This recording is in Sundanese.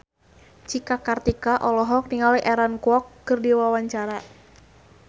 Cika Kartika olohok ningali Aaron Kwok keur diwawancara